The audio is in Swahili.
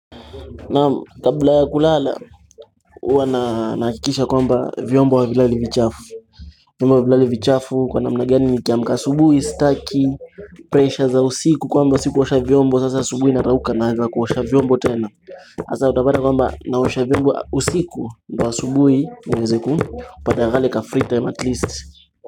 Na kabla ya kulala uwa naakikisha kwamba vyombo havilali vichafu Kwa namna gani nikiamka asubuhi, staki, pressure za usiku kwamba sikuosha vyombo Sasa asubuhi narauka naanza kuosha vyombo tena Asa utapata kwamba naosha vyombo usiku ndo asubuhi niweze kupata kale ka free time at least.